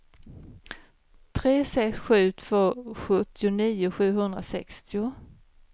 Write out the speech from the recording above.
tre sex sju två sjuttionio sjuhundrasextio